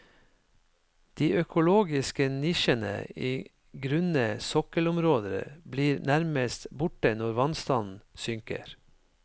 De økologiske nisjene i grunne sokkelområder blir nærmest borte når vannstanden synker.